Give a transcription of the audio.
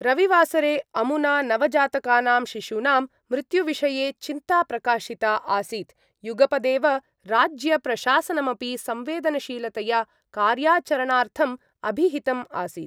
रविवासरे अमुना नवजातकानां शिशूनां मृत्युविषये चिन्ता प्रकाशिता आसीत् युगपदेव राज्यप्रशासनमपि संवेदनशीलतया कार्याचरणार्थम् अभिहितम् आसीत्।